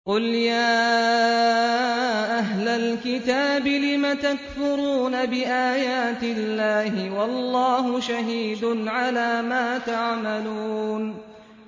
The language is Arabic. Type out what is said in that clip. قُلْ يَا أَهْلَ الْكِتَابِ لِمَ تَكْفُرُونَ بِآيَاتِ اللَّهِ وَاللَّهُ شَهِيدٌ عَلَىٰ مَا تَعْمَلُونَ